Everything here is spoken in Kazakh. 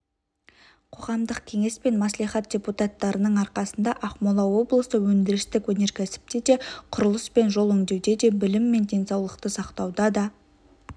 қоғамдық кеңес пен мәслихат депутаттарының арқасында ақмола облысы өндірістік өнеркәсіпте де құрылыс пен жол жөндеуде де білім мен денсаулықты сақтауда да